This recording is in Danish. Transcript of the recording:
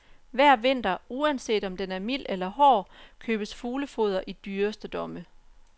Hver vinter, uanset om den er mild eller hård, købes fuglefoder i dyreste domme.